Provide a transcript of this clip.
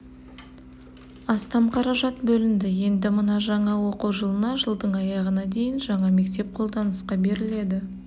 астам қаражат бөлінді енді мына жаңа оқу жылына жылдың аяғына дейін жаңа мектеп қолданысқа беріледі